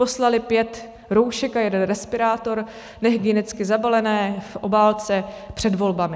Poslali pět roušek a jeden respirátor, nehygienicky zabalené v obálce před volbami?